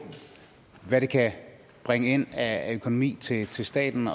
hvad det kan bringe ind af økonomi til til staten